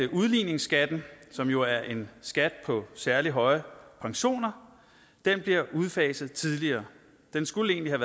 udligningsskatten som jo er en skat på særlig høje pensioner bliver udfaset tidligere den skulle egentlig